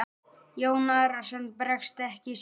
Jón Arason bregst ekki sínum.